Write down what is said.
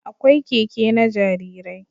Akwai Keke na jarirai